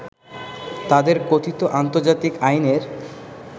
তাদের কথিত আন্তর্জাতিক আইনের